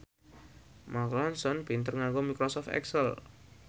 Mark Ronson pinter nganggo microsoft excel